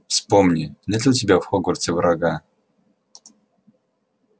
вспомни нет ли у тебя в хогвартсе врага